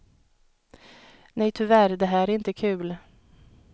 Nej, tyvärr det här är inte kul.